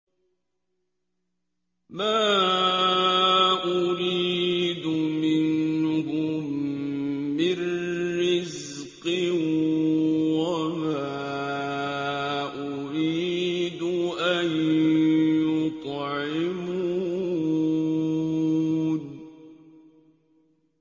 مَا أُرِيدُ مِنْهُم مِّن رِّزْقٍ وَمَا أُرِيدُ أَن يُطْعِمُونِ